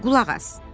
Qulaq as.